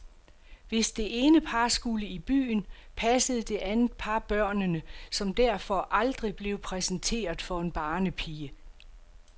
Hvis det ene par skulle i byen, passede det andet par børnene, som derfor aldrig blev præsenteret for en barnepige.